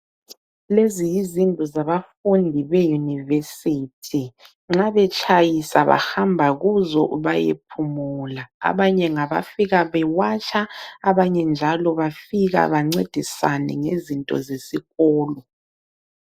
Lezi yizindlu zabafundi beYunivesithi. Nxa betshayisa bahamba kuzo bayephumula. Abanye ngabafika bewatsha, abanye njalo bafika bancedisane ngezinto zesikolo.